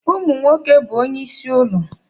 Ụmụ nwoke bụ onyeisi ụlọ.